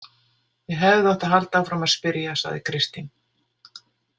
Ég hefði átt að halda áfram að spyrja, sagði Kristín.